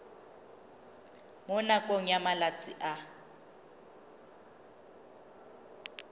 mo nakong ya malatsi a